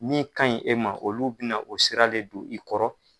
Min kan ɲi e ma olu bina o sira le don i kɔrɔ.